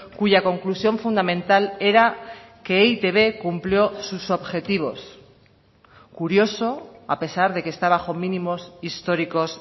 cuya conclusión fundamental era que e i te be cumplió sus objetivos curioso a pesar de que está bajo mínimos históricos